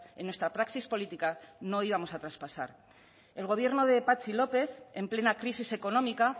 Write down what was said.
en nuestra praxis política no íbamos a traspasar el gobierno de patxi lópez en plena crisis económica